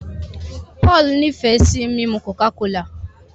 Paul ní fe sí mímu coca-cola.